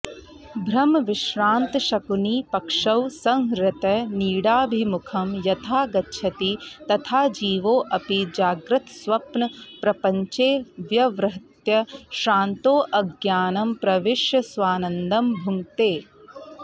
भ्रमविश्रान्तशकुनिः पक्षौ संहृत्य नीडाभिमुखं यथा गच्छति तथा जीवोऽपि जाग्रत्स्वप्नप्रपञ्चे व्यवहृत्य श्रान्तोऽज्ञानं प्रविश्य स्वानन्दं भुङ्क्ते